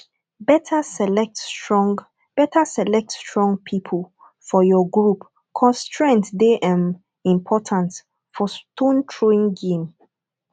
better select strong better select strong people for your group cause strength dey um important for stone throwing game